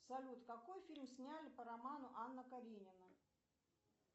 салют какой фильм сняли по роману анна каренина